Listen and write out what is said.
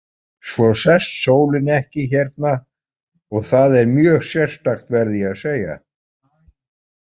Svo sest sólin ekki hérna og það er mjög sérstakt, verð ég að segja.